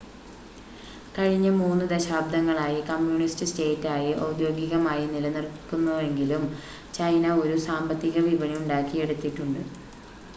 കഴിഞ്ഞ 3 ദശാബ്ദങ്ങളായി കമ്മ്യൂണിസ്റ്റ് സ്റ്റേറ്റായി ഔദ്യോഗികമായി നിലനിൽക്കുന്നുവെങ്കിലും ചൈന ഒരു സാമ്പത്തിക വിപണി ഉണ്ടാക്കിയെടുത്തിട്ടുണ്ട്